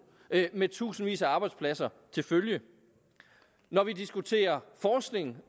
med tusindvis af arbejdspladser til følge når vi diskuterer forskning